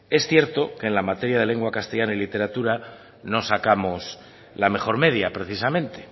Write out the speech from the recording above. es cierto que en la materia de lengua castellana y literatura no sacamos la mejor media precisamente